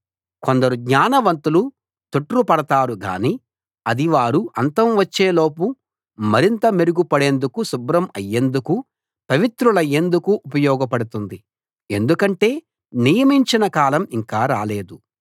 కొందరు జ్ఞానవంతులు తొట్రుపడతారుగానీ అది వారు అంతం వచ్చేలోపు మరింత మెరుగు పడేందుకు శుభ్రం అయేందుకు పవిత్రులయేందుకు ఉపయోగపడుతుంది ఎందుకంటే నియమించిన కాలం ఇంకా రాలేదు